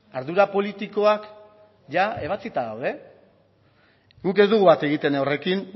ardura politikoak ia ebatzita daude guk ez dugu bat egiten horrekin